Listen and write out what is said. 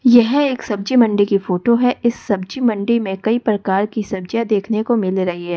यह एक सब्जी मंडी की फोटो है इस सब्जी मंडी में कई प्रकार की सब्जियां देखने को मिल रही है।